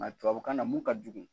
Nka tubabukan na mun ka jugu